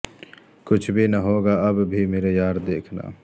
کچھ بھی نہ ہوگا اب بھی میرے یار دیکھنا